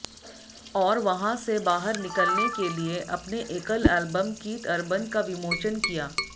और वहां से बाहर निकलने के लिए अपने एकल एलबम कीथ अर्बन का विमोचन किया